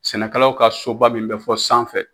Sɛnɛkɛlaw ka soba min bɛ fɔ sanfɛ